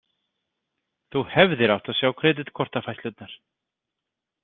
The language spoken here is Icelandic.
Þú hefðir átt að sjá kreditkortafærslurnar.